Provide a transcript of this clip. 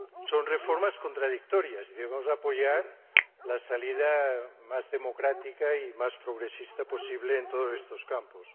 Son reformas contradictorias y debemos apoyar la salida más democrática y más progresista posible en todos estos campos.